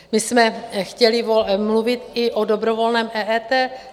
My jsme chtěli mluvit i o dobrovolném EET.